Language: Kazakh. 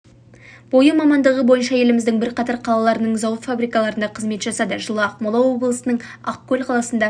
бойы мамандығы бойынша еліміздің бірқатар қалаларының зауыт фабрикаларында қызмет жасады жылы ақмола облысының ақкөл қаласында